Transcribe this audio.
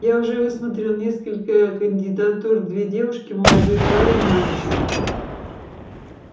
я уже высмотрел несколько кандидатур две девушки молодой парень мальчик